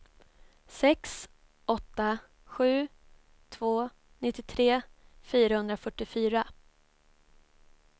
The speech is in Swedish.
sex åtta sju två nittiotre fyrahundrafyrtiofyra